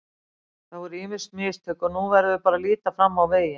Það voru ýmis mistök og nú verðum við bara að líta fram á veginn.